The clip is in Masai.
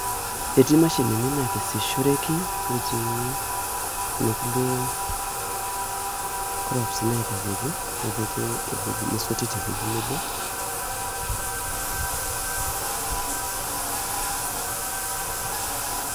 Etii mashinini nakesishoreki netii kuna kulie crops naitayioki , nepiki ewueji, nesoti te wuei nebo .